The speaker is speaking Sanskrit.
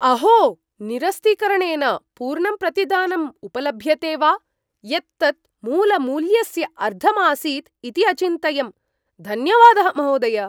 अहो! निरस्तीकरणेन पूर्णं प्रतिदानं उपलभ्यते वा। यत् तत् मूलमूल्यस्य अर्धम् आसीत् इति अचिन्तयम्। धन्यवादः महोदय।